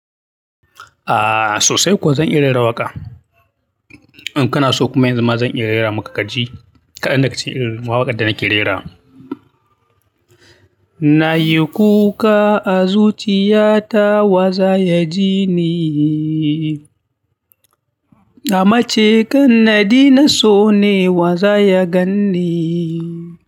Aa sosai kuwa zan irin rawaka In kana so kuma yanzu ma zan iya rera maka kaji. Kaɗan da ka ce eh, mawaƙa da nake rera. Na yi kuka a zuciyata wa za ya ji ni? Amma ce kar nade na so nai wa zaya gan ni.